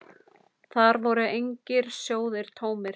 Þar voru engir sjóðir tómir.